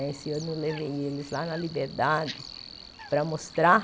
Esse ano eu levei eles lá na Liberdade para mostrar